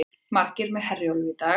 Margir með Herjólfi í dag